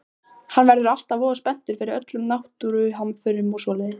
Hann verður alltaf voða spenntur yfir öllum náttúruhamförum og svoleiðis.